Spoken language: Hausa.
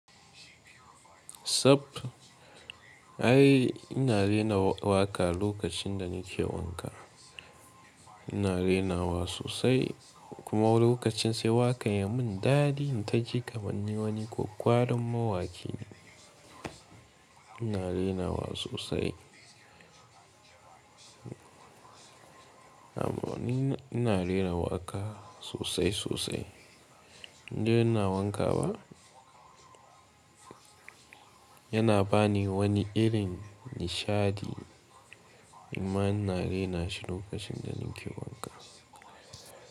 Ai ina rera waƙa lokacin da nake wanka. Ina rerawa sosai kuma wani lokacin sai waƙa ya mun dadi in taji kamar na wani kwakkwaran mawaƙi. Ina renawa sosai. Amma ina ina rera waƙa sosai sosai. Inda ina wanka ba yana bani wani irin nishadi. Kuma ina renashi lokacin da nake wanka.